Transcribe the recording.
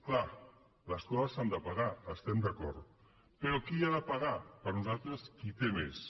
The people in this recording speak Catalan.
clar les coses s’han de pagar hi estem d’acord però qui ha de pagar per nosaltres qui té més